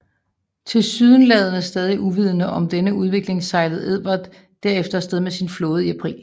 Tilsyneladende stadig uvidende om denne udvikling sejlede Edward derefter afsted med sin flåde i april